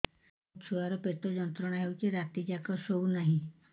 ମୋ ଛୁଆର ପେଟ ଯନ୍ତ୍ରଣା ହେଉଛି ରାତି ଯାକ ଶୋଇନାହିଁ